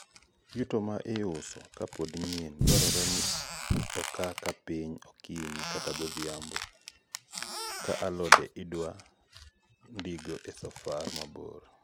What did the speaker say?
yuto ma iuso ka pod nyien dwarore ni oka ka piny okinyi kata godhiambo( kaa alode idwa ndigo e safar mabor)